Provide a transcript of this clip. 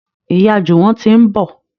Ìyá Juwon tí ń bọ